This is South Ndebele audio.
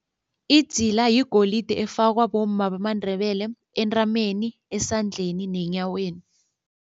Idzila yigolide efakwa bomma bamaNdebele entameni, esandleni nenyaweni.